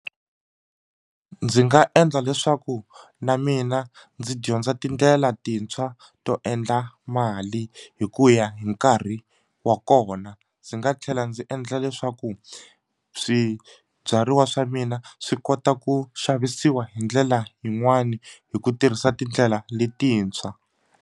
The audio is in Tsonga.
Ndzi nga endla leswaku na mina ndzi dyondza tindlela tintshwa to endla mali hi ku ya hi nkarhi wa kona ndzi nga tlhela ndzi endla leswaku swibyariwa swa mina swi kota ku xavisiwa hi ndlela yin'wani hi ku tirhisa tindlela letintshwa.